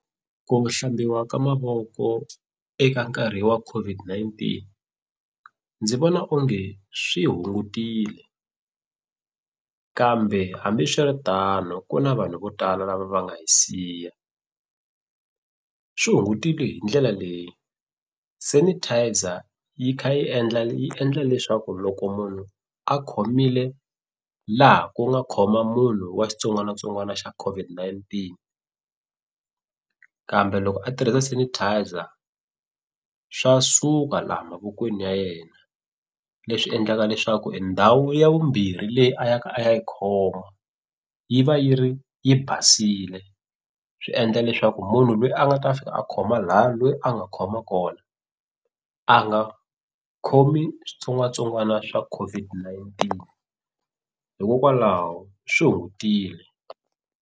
Ku hlambiwa ka mavoko eka nkarhi wa COVID-19 ndzi vona onge swi hungutile kambe hambiswiritano ku na vanhu vo tala lava va nga hi siya, swi hungutile hi ndlela leyi sanitizer yi kha yi endla yi endla leswaku loko munhu a khomile laha ku nga khoma munhu wa xitsongwanatsongwana xa COVI-19 kambe loko a tirhisa sanitizer swa suka laha mavokweni ya yena leswi endlaka leswaku endhawu ya vumbirhi leyi a ya ka a ya yi khoma yi va yi ri yi basile swi endla leswaku munhu lweyi a nga ta fika a khoma laya loyi a nga khoma kona a nga khomi switsongwatsongwana swa COVID-19 hikokwalaho swi hungutile.